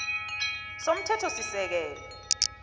f ii somthethosisekelo